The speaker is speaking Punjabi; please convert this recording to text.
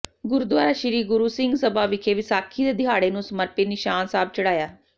ਗੁਰਦੁਆਰਾ ਸ੍ਰੀ ਗੁਰੂ ਸਿੰਘ ਸਭਾ ਵਿਖੇ ਵਿਸਾਖੀ ਦੇ ਦਿਹਾੜੇ ਨੂੰ ਸਮਰਪਿਤ ਨਿਸ਼ਾਨ ਸਾਹਿਬ ਚੜ੍ਹਾਇਆ